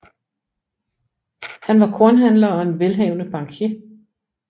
Han var kornhandler og en velhavende bankier